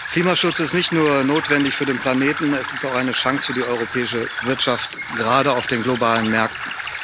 Klimaschutz ist nicht nur notwendig für den Planeten, er ist auch eine Chance für die europäische Wirtschaft, gerade auf den globalen Märkten.